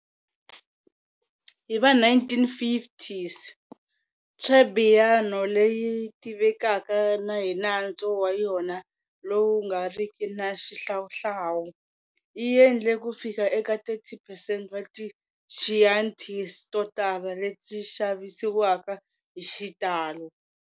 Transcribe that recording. Hiva 1950s, Trebbiano, leyi tivekaka hi nantswo wa yona lowu nga riki na xihlawuhlawu, yi endle kufika eka 30 percent wa ti Chiantis totala leti xavisiwaka hi xitalo.